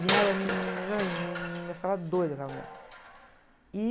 E ela me, me... Ai, me, eu ficava doida com a mulher.